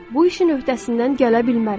Bu işin öhdəsindən gələ bilmərəm.